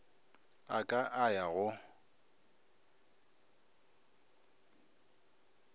a ka a ya go